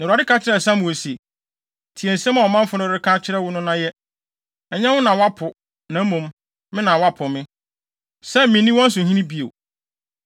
Na Awurade ka kyerɛɛ Samuel se, “Tie nsɛm a ɔmanfo no reka kyerɛ wo no na yɛ. Ɛnyɛ wo na wɔapo, na mmom, me na wɔapo me, sɛ minnni wɔn so hene bio.